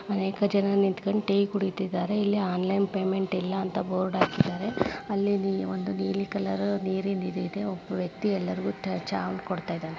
ಅನೇಕ ಜನ ನಿಂತುಕೊಂಡು ಟೀ ಕುಡಿತ್ತಿದ್ದಾರೆ ಇಲ್ಲಿ ಆನ್ಲೈನ್ ಪೇಮೆಂಟ್ ಇಲ್ಲ ಅಂತ ಬೋರ್ಡ್ ಹಾಕಿದ್ದಾರೆ ಅಲ್ಲೇ ನಿ ಒಂದು ನೀಲಿ ಕಲರ್ ನೀರಿಂದ ಇದಿದೇ ಒಬ್ಬ ವ್ಯಕ್ತಿ ಎಲ್ಲಾರಗೂ ಚಾ ಕೊಡ್ತಾ ಇದ್ದಾನೆ.